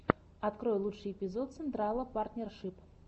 открой лучший эпизод централа партнершип